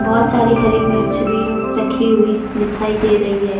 बहोत सारी हरी मिर्च भी रखी हुई दिखाई दे रही है।